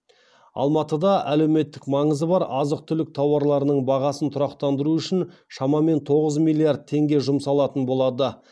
алматыда әлеуметтік маңызы бар азық түлік тауарларының бағасын тұрақтандыру үшін шамамен тоғыз миллиард теңге жұмсалатын болады